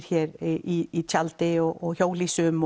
hér í tjaldi og hjólhýsum